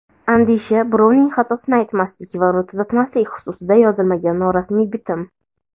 Andisha – birovning xatosini aytmaslik va uni tuzatmaslik xususida yozilmagan norasmiy bitim.